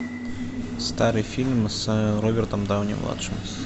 старый фильм с робертом дауни младшим